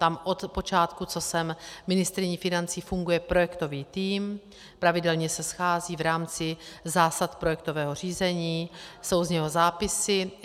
Tam od počátku, co jsem ministryní financí, funguje projektový tým, pravidelně se schází v rámci zásad projektového řízení, jsou z něho zápisy.